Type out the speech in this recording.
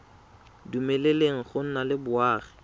dumeleleng go nna le boagi